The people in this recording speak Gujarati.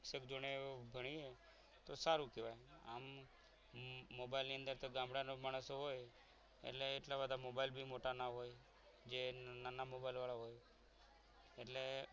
શિક્ષક જોડે ભણીએ તો સારું કહેવાય આમ મોબાઈલની અંદર ગામડાના માણસો હોય એટલે એટલા બધા મોબાઈલથી મોટા ના હોય જે નાના મોબાઈલ વાળા હોય એટલે